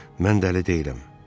Mən dəli deyiləm.